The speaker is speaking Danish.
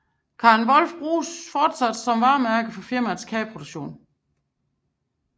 Karen Volf bruges fortsat som varemærke for firmaets kageproduktion